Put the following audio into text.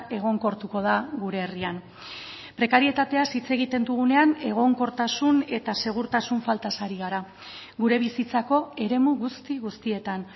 egonkortuko da gure herrian prekarietateaz hitz egiten dugunean egonkortasun eta segurtasun faltaz ari gara gure bizitzako eremu guzti guztietan